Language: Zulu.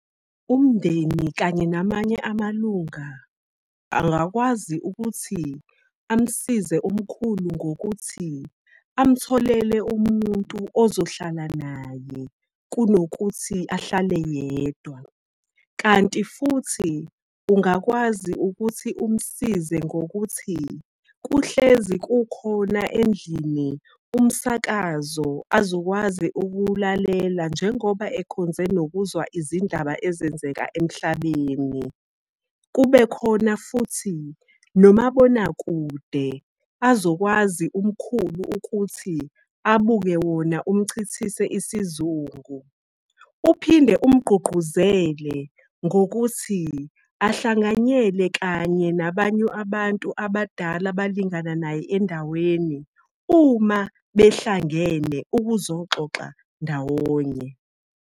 Umndeni kanye namanye amalunga angakwazi ukuthi amsize umkhulu ngokuthi amtholele umuntu ozohlala naye kunokuthi ahlale yedwa. Kanti futhi ungakwazi ukuthi umsize ngokuthi kuhlezi kukhona endlini umsakazo azokwazi ukuwulalela, njengoba ekhonze nokuzwa izindaba ezenzeka emhlabeni. Kube khona futhi nomabonakude, azokwazi umkhulu ukuthi abuke wona umchithise isizungu. Uphinde umgqugquzele ngokuthi ahlanganyele kanye nabanye abantu abadala abalingana naye endaweni uma behlangene ukuzoxoxa ndawonye.